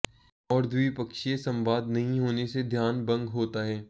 और द्विपक्षीय संवाद नहीं होने से ध्यान भंग होता है